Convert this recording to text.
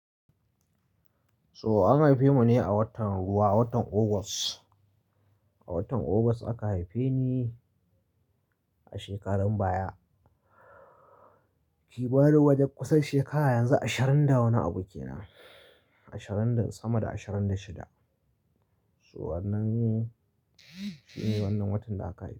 So an haife mu ne a watan ruwa, watan August. A watan August aka haife ni a shekarun baya. Kimanin wajen kusan shekara yanzu ashirin da wani abu kenan. Ashirin da sama da ashirin da shida. To wannan shine wannan watan da aka haife ni.